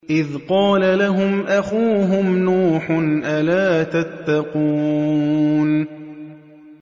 إِذْ قَالَ لَهُمْ أَخُوهُمْ نُوحٌ أَلَا تَتَّقُونَ